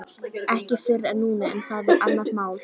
Ekki fyrr en núna en það er annað mál.